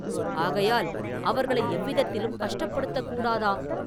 ஆகையால் அவர்களை எவ்விதத்திலும் கஷ்டப்படுத்தக் கூடாதாம்!